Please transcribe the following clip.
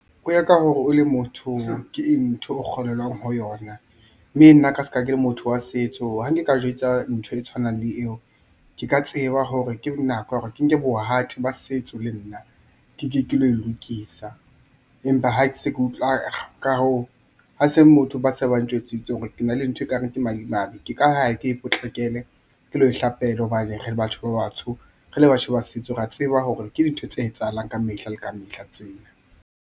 Ho ya ka hore o le motho ke eng ntho o kgolelwang ho yona. Mme nna ka ska ke le motho wa setso, ha nke ka jwetsa ntho e tshwanang le eo. Ke ka tseba hore ke nako ya hore ke nke bohati ba setso, le nna ke ke ke lo e lokisa. Empa ha ke se ke utlwa ka hoo, ha se motho ba se ba ntjwetsitse hore ke na le ntho e kare ke madimabe, ke ka ya ke e potlakele, ke lo e hlapela hobane re batho ba batsho re le batho ba setso, rea tseba hore ke dintho tse etsahalang ka mehla le ka mehla tsena.